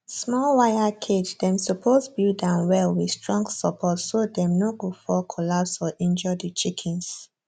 small wire cage dem suppose build am well with strong support so dem no go fall collapse or injure the chickens